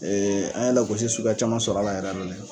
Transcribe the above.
Ee an ye lagosi suguya caman sɔrɔ